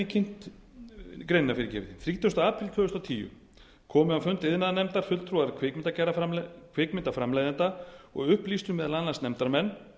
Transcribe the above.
greinina þrítugasta apríl tvö þúsund og tíu komu á fund iðnaðarnefndar fulltrúar kvikmyndaframleiðenda og upplýstu meðal annars nefndarmenn